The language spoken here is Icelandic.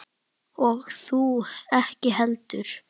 Og þú ekki heldur.